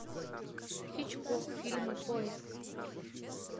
хичкок фильмы поиск